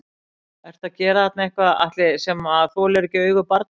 Ertu að gera þarna eitthvað Atli sem að þolir ekki augu barna?